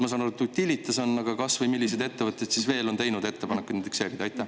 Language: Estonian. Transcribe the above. Ma saan aru, et Utilitas on, aga millised ettevõtted veel on teinud ettepanekuid indekseerida?